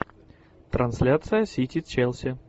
трансляция сити челси